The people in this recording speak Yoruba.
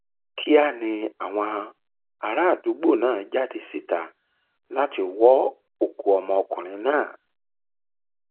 kíá ni àwọn àràádúgbò náà jáde síta láti wọ òkú ọmọkùnrin náà